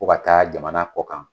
Ko ka taa jamana kɔ kan.